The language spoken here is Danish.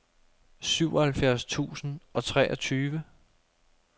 syvoghalvfjerds tusind og treogtyve